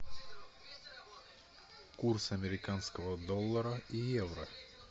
курс американского доллара и евро